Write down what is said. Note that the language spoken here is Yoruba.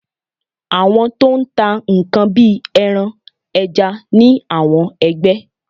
Àwọn to n tà nkán bi eran, eja ni awọn ẹgbẹ́